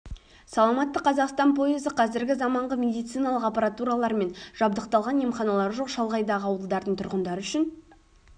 саламатты қазақстан пойызы қазіргі заманғы медициналық аппаратуралармен жабдықталған емханалары жоқ шалғайдағы ауылдардың тұрғындары үшін